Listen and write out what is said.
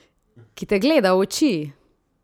Ki te gleda v oči?